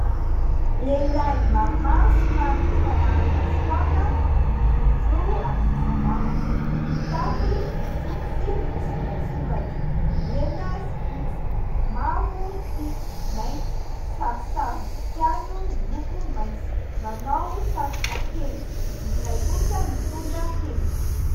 Lehilahy maromaro somary efa nahazoazo taona, mijorojoro amin'ny sisin-dalana. Mitafy bodofotsy misoratsoratra mena sy fotsy, mavo sy mainty. Sarisarim-boninkazo miloko mainty. Manao satroka penjy, ny iray kosa mitondra tehina.